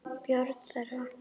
Börn þeirra.